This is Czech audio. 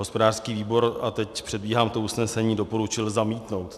Hospodářský výbor, a teď předbíhám to usnesení, doporučil zamítnout.